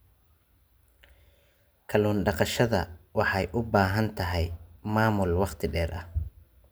Kallun daqashada waxay u baahan tahay maamul waqti dheer ah.